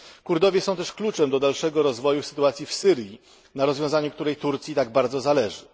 Kurdowie są też kluczem do dalszego rozwoju sytuacji w Syrii, a na rozwiązaniu tej sytuacji Turcji tak bardzo zależy.